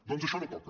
doncs això no toca